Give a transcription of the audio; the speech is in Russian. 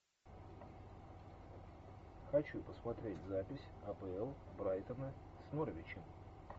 хочу посмотреть запись апл брайтона с норвичем